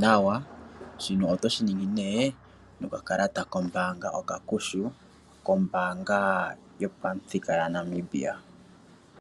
nawa. Shino otoshi ningi nokakalata kombaanga okakushu, kombaanga yopamuthika yaNamibia.